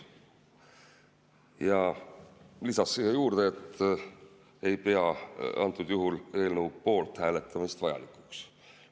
Ja lisas siia juurde, et ta ei pea antud juhul eelnõu poolt hääletamist vajalikuks.